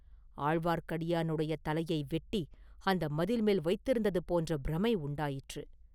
ஆழ்வார்க்கடியானுடைய தலையை வெட்டி அந்த மதில் மேல் வைத்திருந்தது போன்ற பிரமை உண்டாயிற்று.